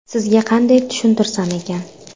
Sizga qanday tushuntirsam ekan?